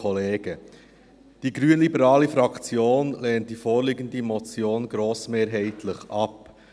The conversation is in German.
Die grünliberale Fraktion lehnt die vorliegende Motion grossmehrheitlich ab.